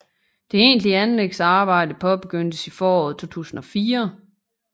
Det egentlige anlægsarbejde påbegyndtes i foråret 2004